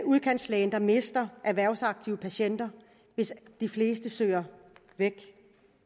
udkantslægen der mister erhvervsaktive patienter hvis de fleste søger væk